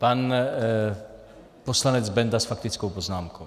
Pan poslanec Benda s faktickou poznámkou.